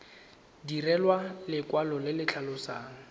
direlwa lekwalo le le tlhalosang